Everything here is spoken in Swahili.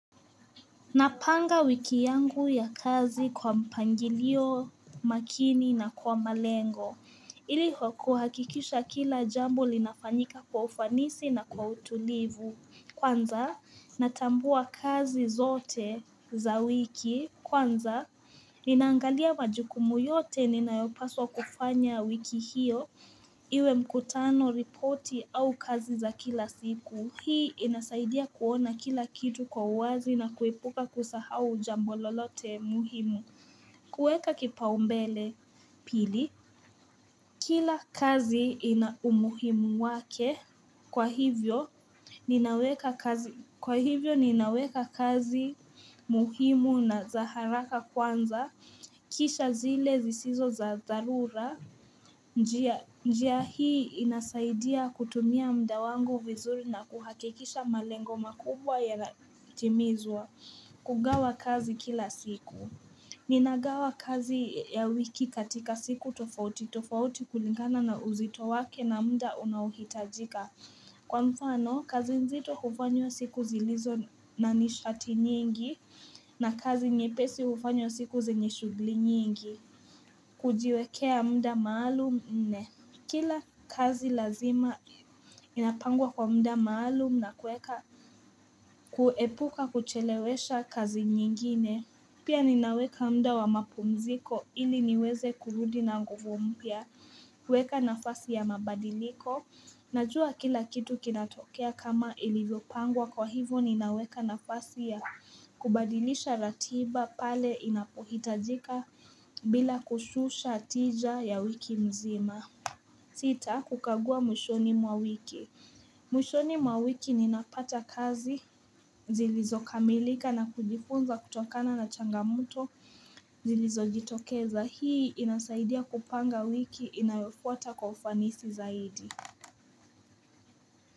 Napanga wiki yangu ya kazi kwa mpangilio makini na kwa malengo. Ili kwa kuhakikisha kila jambo linafanyika kwa ufanisi na kwa utulivu. Kwanza, natambua kazi zote za wiki. Kwanza, ninaangalia majukumu yote ninayopaswa kufanya wiki hiyo. Iwe mkutano ripoti au kazi za kila siku. Hii inasaidia kuona kila kitu kwa uwazi na kuepuka kusahau jambo lolote muhimu kueka kipaumbele pili Kila kazi ina umuhimu wake kwa hivyo Ninaweka kazi kwa hivyo ninaweka kazi muhimu na za haraka kwanza Kisha zile zisizo za dharura njia hii inasaidia kutumia muda wangu vizuri na kuhakikisha malengo makubwa yanatimizwa kugawa kazi kila siku Ninagawa kazi ya wiki katika siku tofauti tofauti kulingana na uzito wake na muda unaohitajika Kwa mfano, kazi nzito hufanywa siku zilizo na nishati nyingi na kazi nyepesi hufanywa siku zenye shughuli nyingi kujiwekea muda maalum nne Kila kazi lazima inapangwa kwa muda maalum na kuweka kuepuka kuchelewesha kazi nyingine Pia ninaweka muda wa mapumziko ili niweze kurudi na nguvu mpya kueka nafasi ya mabadiliko Najua kila kitu kinatokea kama ilivyopangwa kwa hivo ninaweka nafasi ya kubadilisha ratiba pale inapohitajika bila kushusha tija ya wiki mzima sita kukagua mwishoni mwa wiki mwishoni mwa wiki ninapata kazi zilizo kamilika na kujifunza kutokana na changamoto Zilizojitokeza hii inasaidia kupanga wiki inayofuata kwa ufanisi zaidi.